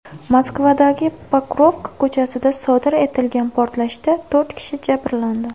Moskvadagi Pokrovka ko‘chasida sodir etilgan portlashda to‘rt kishi jabrlandi.